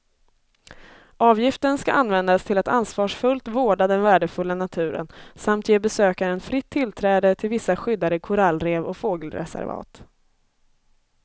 Avgiften ska användas till att ansvarsfullt vårda den värdefulla naturen samt ge besökaren fritt tillträde till vissa skyddade korallrev och fågelreservat.